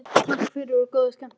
Takk fyrir og góða skemmtun.